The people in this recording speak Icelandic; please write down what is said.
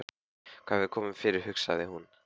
Hvað hefur komið fyrir, hugsaði hún.